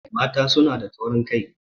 Mata suna da taurin kai